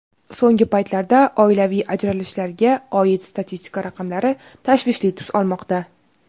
So‘nggi paytlarda oilaviy ajralishlarga oid statistika raqamlari tashvishli tus olmoqda.